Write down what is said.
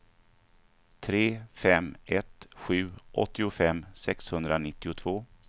tre fem ett sju åttiofem sexhundranittiotvå